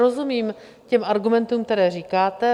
Rozumím těm argumentům, které říkáte.